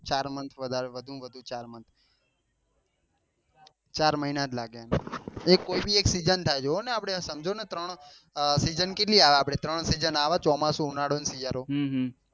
ચાર month વધુ માં વધુ month ચાર મહિના જ લાગે એક કોઈ બી એક સીજન થાય જોવો ને આપડે એ સમજો ને આ ત્રણ સીજન કેટલી આવે આપડે ત્રણ સીજન આવે ચોમાસું શિયાળો ને ઉનાળો